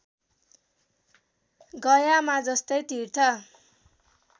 गयामा जस्तै तीर्थ